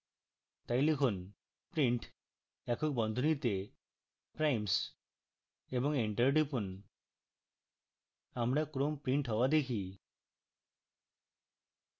তাই লিখুন print একক বন্ধনীতে primes এবং enter টিপুন আমরা ক্রম print হওয়া দেখি